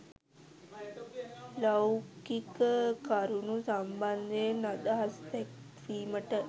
ලෞකික කරුණු සම්බන්ධයෙන් අදහස් දැක්වීමට